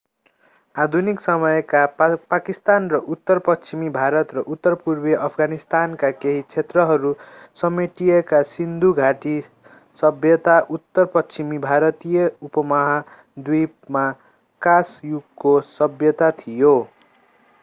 आधुनिक समयका पाकिस्तान र उत्तर पश्चिमी भारत र उत्तर पूर्वी अफगानिस्तानका केही क्षेत्रहरू समेटिएका सिन्धु घाटी सभ्यता उत्तर पश्चिमी भारतीय उपमहाद्वीपमा काँस युगको सभ्यता थियो